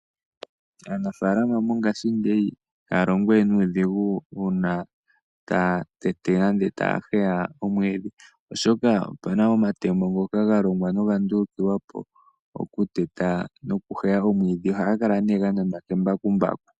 Aanafaalama mongaashingeyi ihaya longo we nuudhigu uuna taya tete nande taya heya omwiidhi. Oshoka opuna omatemo ngoka ga longwa noga ndulukiwapo, oku teta noku heya omwiidhi, ohaga kala nee ga nanwa kembakumbaku.